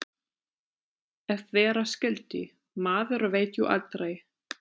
Ef vera skyldi. maður veit jú aldrei.